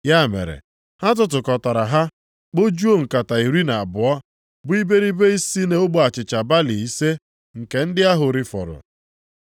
Ya mere, ha tụtụkọtara ha, kpojuo nkata iri na abụọ, bụ iberibe si nʼogbe achịcha balị ise nke ndị ahụ rifọrọ.